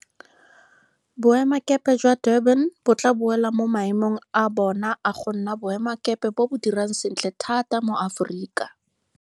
Boemakepe jwa Durban bo tla boela mo maemong a bona a go nna boemakepe bo bo dirang sentle thata mo Aforika.